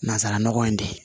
Nansara nɔgɔ in de